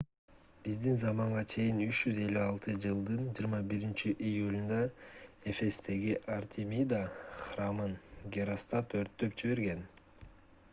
биздин заманга чейин 356-жылдын 21-июлунда эфестеги артемида храмын геростат өрттөп жиберген